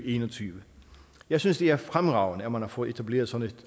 en og tyve jeg synes det er fremragende at man har fået etableret sådan